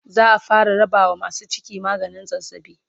za'a fara rabawa masu ciki maganin zazzabi